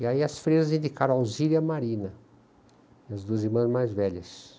E aí as freiras indicaram Alzira e a marina, as duas irmãs mais velhas.